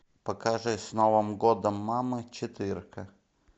покажи с новым годом мамы четырка